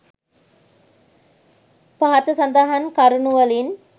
පහත සඳහන් කරුණුවලින්